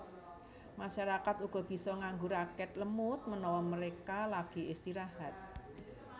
Masyarakat uga bisa nganggo raket lemut menawa mereka lagi istirahat